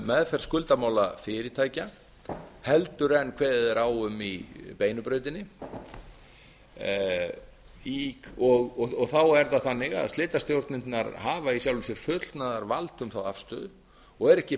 meðferð skuldamála fyrirtækja en kveðið er á um í beinu brautinni og þá er það þannig að slitastjórnirnar hafa í sjálfu sér fullnaðarvald um þá afstöðu og eru ekki